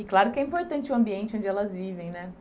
E claro que é importante o ambiente onde elas vivem, né?